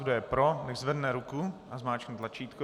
Kdo je pro, nechť zvedne ruku a zmáčkne tlačítko.